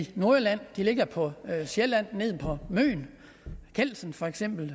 nordjylland de ligger på sjælland nede på møn kelsen for eksempel